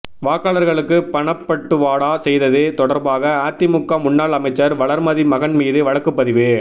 வாக்காளர்களுக்கு பணப்பட்டுவாடா செய்தது தொடர்பாக அதிமுக முன்னாள் அமைச்சர் வளர்மதி மகன் மீது வழக்குப்பதிவு